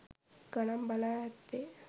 ගණන් බලා ඇත්තේ.